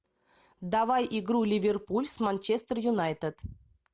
давай игру ливерпуль с манчестер юнайтед